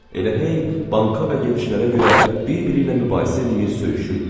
Elə hey banka və gedişlərə görə bir-biri ilə mübahisə eləyir, söyüşürdülər.